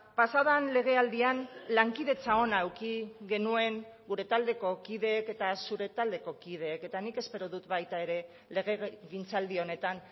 pasaden legealdian lankidetza ona eduki genuen gure taldeko kideek eta zure taldeko kideek eta nik espero dut baita ere legegintzaldi honetan